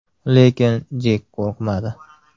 Lekin Jek qo‘rqmadi.